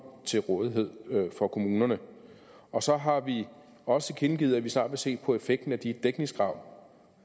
til rådighed for kommunerne og så har vi også tilkendegivet at vi snart vil se på effekten af de dækningskrav